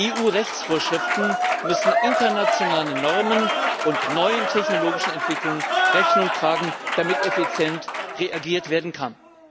EU Rechtsvorschriften müssen internationalen Normen und neuen technologischen Entwicklungen Rechnung tragen, damit effizient reagiert werden kann.